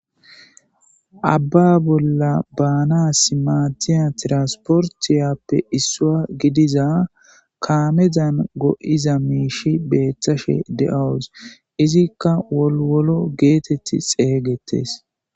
Abba bolla baanasi maadiya tranportiyappe issuwa gidiza kaamezan go7iza miishshi beetashe de7awus. Izikka woliwolo geteti xeegetees.